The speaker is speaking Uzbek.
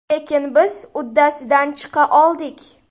Lekin biz uddasidan chiqa oldik.